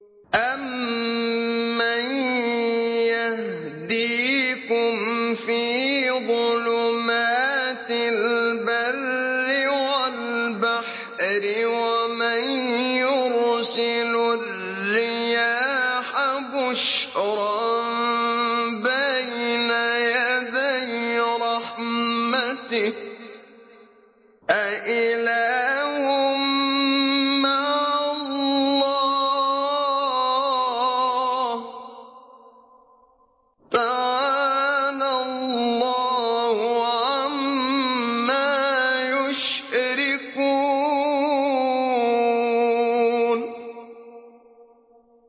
أَمَّن يَهْدِيكُمْ فِي ظُلُمَاتِ الْبَرِّ وَالْبَحْرِ وَمَن يُرْسِلُ الرِّيَاحَ بُشْرًا بَيْنَ يَدَيْ رَحْمَتِهِ ۗ أَإِلَٰهٌ مَّعَ اللَّهِ ۚ تَعَالَى اللَّهُ عَمَّا يُشْرِكُونَ